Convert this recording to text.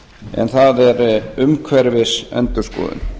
en það er umhverfisendurskoðun